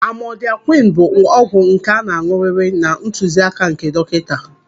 Amodịakwịn bụ ọgwụ nke a ga-an̄ụrịrị na ntuzi áká nke dọkịnta